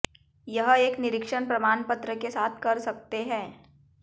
यह एक निरीक्षण प्रमाण पत्र के साथ कर सकते हैं